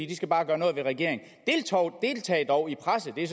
den skal bare gøre noget ved regeringen deltag dog i presset det er